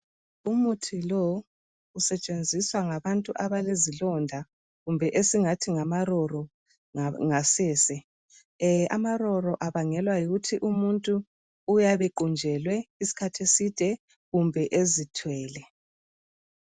Umuthi lo usetshenziswa ngabantu abalezilonda kumbe esingathi ngamaroro ngasese. Amaroro abangelwa yikuthi umuntu uyabe equnjelwe isikhathi eside kumbe ezithwele